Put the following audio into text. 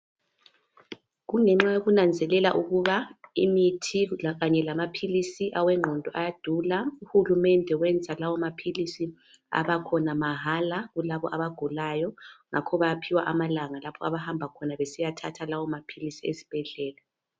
Kungenxa yokunanzelela ukuba imithi lakanye lamaphilisi awengqondo ayadula. Uhulumende wenza lawo maphilisi abakhona mahala kulabo abagulayo. Ngakho bayaphiwa amalanga lapho abahamba khona besiya thatha esibhedlela.